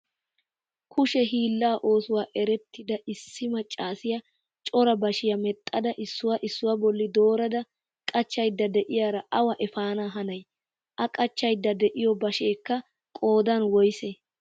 Kushe hiillaa oosuwa erettida issi maccassiya cora bashshiya medhdhada issuwa issuwa bolli doorada qachchaydda de'iyaa awa eppaana hanay? a qachchydda de'iyo bashshekka qoodan woyssee?